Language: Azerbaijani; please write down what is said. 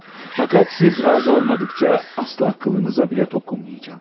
Amma siz razı olmadıqca əsla tükünüzə belə toxunmayacağam.